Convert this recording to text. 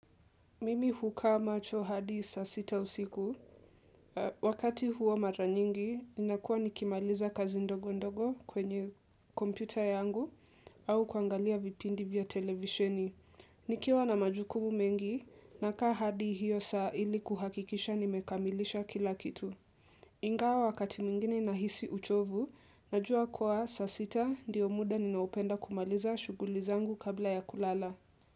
Mimi hukaa macho hadi saa sita usiku, wakati huo mara nyingi, ninakuwa nikimaliza kazi ndogo ndogo kwenye kompyuta yangu au kuangalia vipindi vya televisheni. Nikiwa na majukumu mengi, nakaa hadi hiyo saa ili kuhakikisha nimekamilisha kila kitu. Ingawa wakati mwingine nahisi uchovu, najua kuwa saa sita ndio muda ninaopenda kumaliza shughuli zangu kabla ya kulala.